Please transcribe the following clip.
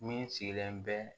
Min sigilen bɛ